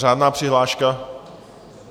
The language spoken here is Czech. Řádná přihláška?